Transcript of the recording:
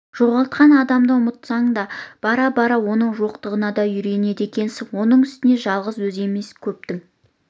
жоғалтқан адамыңды ұмытпасаң да бара-бара оның жоқтығына да үйренеді екенсің оның үстіне жалғыз өзі емес көптің